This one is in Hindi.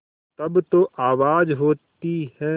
तब जो आवाज़ होती है